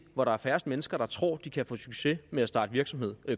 hvor der er færrest mennesker der tror de kan få succes ved at starte virksomhed